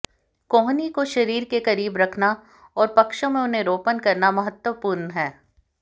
कोहनी को शरीर के करीब रखना और पक्षों में उन्हें रोपण करना महत्वपूर्ण है